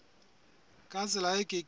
ka tsela e ke keng